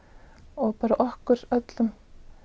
og bara okkur öllum